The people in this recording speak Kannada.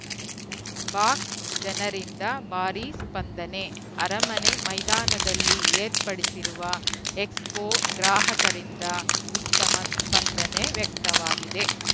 ಬಾಕ್ಸ್‌ಜನರಿಂದ ಭಾರೀ ಸ್ಪಂದನೆ ಅರಮನೆ ಮೈದಾನದಲ್ಲಿ ಏರ್ಪಡಿಸಿರುವ ಎಕ್ಸ್‌ಪೋ ಗ್ರಾಹಕರಿಂದ ಉತ್ತಮ ಸ್ಪಂದನೆ ವ್ಯಕ್ತವಾಗಿದೆ